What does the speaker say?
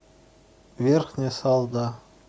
верхняя салда